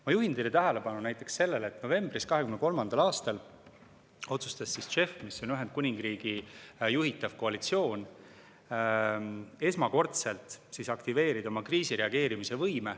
Ma juhin teie tähelepanu näiteks sellele, et novembris 2023. aastal otsustas JEF, mis on Ühendkuningriigi juhitav koalitsioon, esmakordselt aktiveerida oma kriisireageerimise võime.